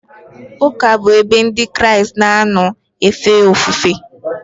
Ụka bụ ebe Ndị Kraịst na-anọ efe ofufe.